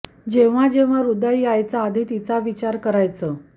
जेव्हा जेव्हा ह्रदय यायचं आधी तिचा विचार करायचो